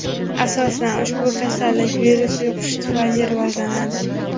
Asosan, ushbu kasallik virus yuqishi tufayli rivojlanadi.